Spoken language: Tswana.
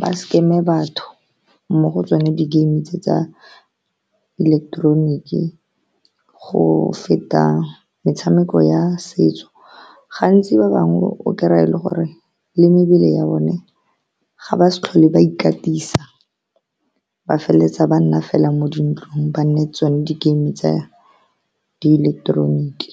ba scam-e batho mo go tsone di game tse tsa ileketeroniki. Go feta metshameko ya setso, gantsi ba bangwe o krey-ye e le gore le mebele ya bone ga ba sa tlhole ba ikatisa, ba feleletsa ba nna fela mo dintlong, ba nnetse tsone di-game tsa di ileketeroniki.